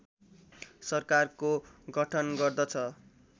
सरकारको गठन गर्दछ